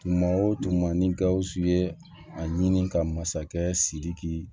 Tuma o tuma ni gawusu ye a ɲini ka masakɛ siriki